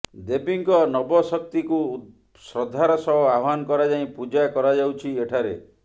ଦେବୀଙ୍କ ନବଶକ୍ତିକୁ ଶ୍ରଦ୍ଧାର ସହ ଆହ୍ୱାନ କରାଯାଇ ପୂଜା କରାଯାଉଛି ଏଠାରେ